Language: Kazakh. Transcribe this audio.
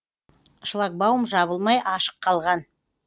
шлагбаум жабылмай ашық қалған